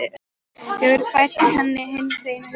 Hefur fært henni hinn hreina huga.